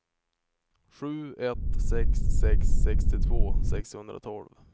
sju ett sex sex sextiotvå sexhundratolv